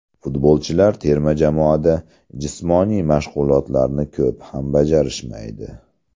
Futbolchilar terma jamoada jismoniy mashg‘ulotlarni ko‘p ham bajarishmaydi.